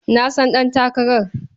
Na san ɗantakarar.